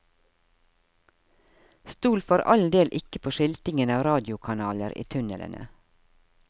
Stol for all del ikke på skiltingen av radiokanaler i tunnelene.